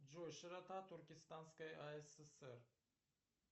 джой широта туркестанской асср